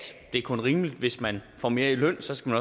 det er kun rimeligt at hvis man får mere i løn skal